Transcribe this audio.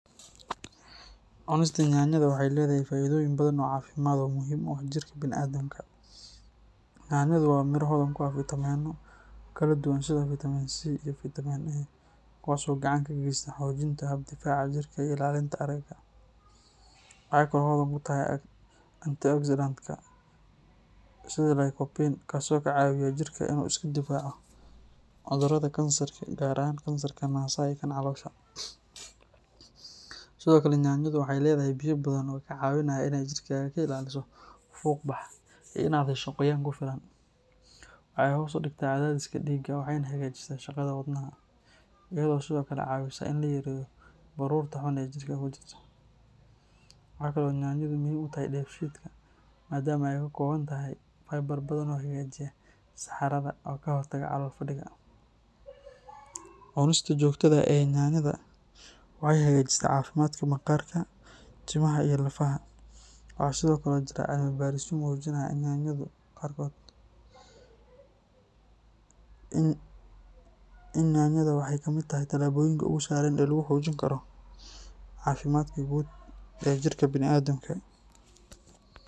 Cunista yanyada waxay leedahay faa’iidooyin badan oo caafimaad oo muhiim u ah jirka bini’aadamka. Yanyadu waa miro hodan ku ah fiitamiinno kala duwan sida fiitamiin C iyo fiitamiin A, kuwaas oo gacan ka geysta xoojinta hab difaaca jirka iyo ilaalinta aragga. Waxay kaloo hodan ku tahay antioxidants-ka sida lycopene, kaas oo ka caawiya jirka inuu iska difaaco cudurrada kansarka gaar ahaan kansarka naasaha iyo kan caloosha. Sidoo kale, yanyadu waxay leedahay biyo badan oo kaa caawinaya inaad jirkaaga ka ilaaliso fuuqbax iyo inaad hesho qoyaan ku filan. Waxay hoos u dhigtaa cadaadiska dhiigga waxayna hagaajisaa shaqada wadnaha, iyadoo sidoo kale caawisa in la yareeyo baruurta xun ee jirka ku jirta. Waxa kale oo yanyadu muhiim u tahay dheefshiidka maadaama ay ka kooban tahay fiber badan oo hagaajiya saxarada oo ka hortaga calool-fadhiga. Cunista joogtada ah ee yanyada waxay hagaajisaa caafimaadka maqaarka, timaha iyo lafaha. Waxaa sidoo kale jira cilmi baarisyo muujinaya in yanyadu yareyso halista cudurrada macaanka nooca labaad iyo xanuunka maskaxda qaarkood. Marka la eego dhammaan faa’iidooyinkaas, cunista yanyada waxay ka mid tahay talaabooyinka ugu sahlan ee lagu xoojin karo caafimaadka guud ee jirka bini’aadamka.